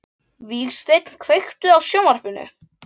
Vígsteinn, kveiktu á sjónvarpinu.